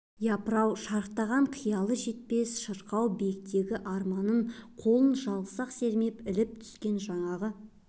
япыр-ау шарықтаған қиялы жетпес шырқау биіктегі арманын қолын жалғыз-ақ сермеп іліп түскен жаңағы